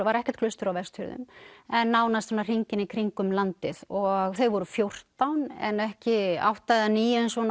var ekkert klaustur á Vestfjörðum en nánast svona hringinn í kringum landið og þau voru fjórtán en ekki átta eða níu eins og